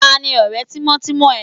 Tani ọ̀rẹ́ tímọ́tímọ́ ẹ?